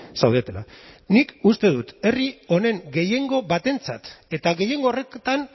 zaudetela nik uste dut herri honen gehiengo batentzat eta gehiengo horretan